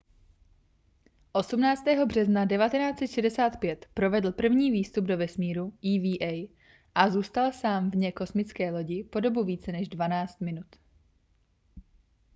18. března 1965 provedl první výstup do vesmíru eva a zůstal sám vně kosmické lodi po dobu více než dvanáct minut